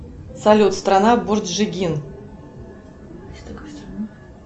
салют страна борджигин